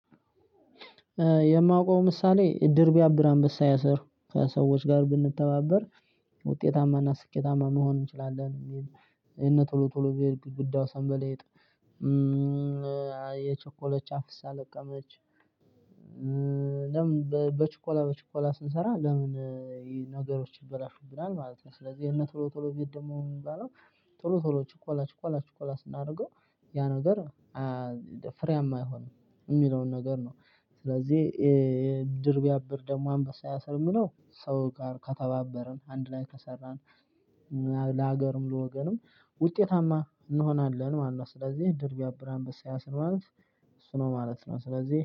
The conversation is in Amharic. የማውቀው ምሳሌ ድር ብያብር አንበሳ ያሰር ከሰዎች ጋር ብንተባበር ውጤታማና ስኬታማ መሆን እንችላለን። የእነ ቶሎ ቶሎ ቤት ግድግዳው ሰንበልጥ የቸኮሎች አፍስ ለቀመች ለምን በችኮላ በችኮላ ስንሰራ ለምን ነገሮች ይበላሹብናል ማለት ነው። ስለዚህ የነ ቶሎ ቶሎ ቤት ደግሞ የምንባለው ቶሎ ቶሎ ችኮላ ችኮላ ችኮላ ስናደርገው ያ ነገር ፍሬያማ አይሆን የሚለውን ነገር ነው። ስለዚህ ድር ብያብር ደግሞ አንበሳ ያሰር የሚለው ሰው ጋር ከተባበርን አንድ ላይ ከሰራን ለሀገር ለወገንም ውጤታማ እንሆናለን ማለት ነው። ስለዚህ ድር ቢያብራ አንበሳ ያስር ማለት እሱ ነው ማለት ነው። ስለዚህ